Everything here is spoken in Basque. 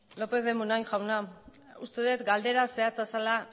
lopez de munain jauna uste dut galdera zehatza zela